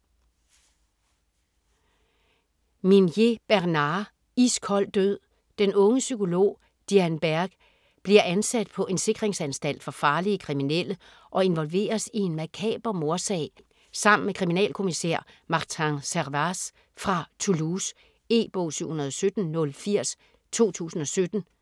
Minier, Bernard: Iskold død Den unge psykolog Diane Berg bliver ansat på en sikringsanstalt for farlige kriminelle og involveres i en makaber mordsag sammen med kriminalkommissær Martin Servaz fra Toulouse. E-bog 717080 2017.